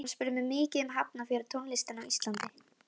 Hann spurði mig mikið um Hafnarfjörð og tónlistina á Íslandi.